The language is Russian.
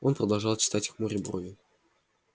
он продолжал читать хмуря брови